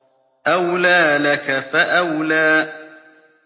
أَوْلَىٰ لَكَ فَأَوْلَىٰ